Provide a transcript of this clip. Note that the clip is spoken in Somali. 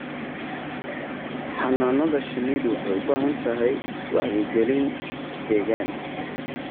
Xannaanada shinnidu waxay u baahan tahay wacyigelin deegaan.